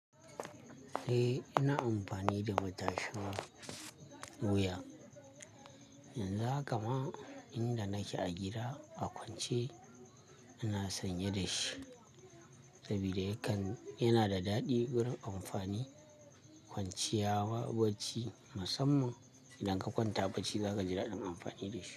Eh, ina amfani da matashin wuya. Yanzu haka ma inda nake a gida a kwance ina sanye da shi saboda yana da daɗi gurin amfani kwanciya wa bacci musamman idan ka kwanta bacci za ka ji daɗin amfani da shi.